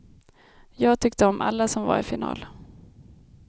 Jag tyckte om alla som var i final.